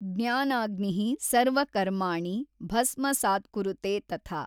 ಜ್ಞಾನಾಗ್ನಿಃ ಸರ್ವಕರ್ಮಾಣಿ ಭಸ್ಮಸಾತ್ಕುರುತೇ ತಥಾ।